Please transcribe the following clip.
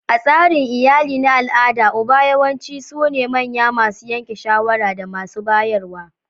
A tsarin iyali na al'ada, uba yawanci sune manyan masu yanke shawara da masu bayarwa.